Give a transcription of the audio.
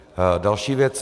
Další věc.